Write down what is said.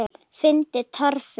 Finnur Torfi.